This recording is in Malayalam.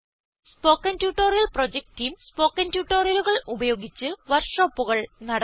spoken tutorial project team spoken ട്യൂട്ടോറിയലുകൾ ഉപയോഗിച്ച് വർക്ക്ഷോപ്പുകൾ നടത്തുന്നു